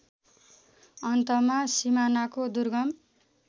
अन्तमा सिमानाको दुर्गम